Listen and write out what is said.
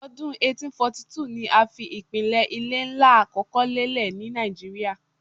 Ọdun 1842 ni a fi ipilẹ ile nla akọkọ lelẹ ni Naijiria